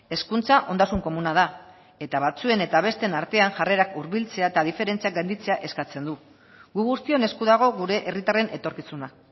hezkuntza ondasun komuna da eta batzuen eta besteen artean jarrerak hurbiltzea eta diferentziak gainditzea eskatzen du gu guztion esku dago gure herritarren etorkizuna